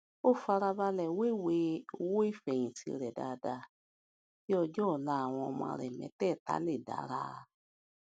ó fara balè wéwèé owó ìfèyìntì rè dáadáa kí ọjó òla àwọn ọmọ rè métèèta lè dára